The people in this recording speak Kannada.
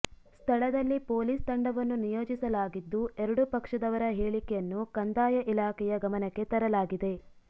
ಸ್ಥಳದಲ್ಲಿ ಪೊಲೀಸ್ ತಂಡವನ್ನು ನಿಯೋಜಿಸಲಾಗಿದ್ದು ಎರಡೂ ಪಕ್ಷದವರ ಹೇಳಿಕೆಯನ್ನು ಕಂದಾಯ ಇಲಾಖೆಯ ಗಮನಕ್ಕೆ ತರಲಾಗಿದೆ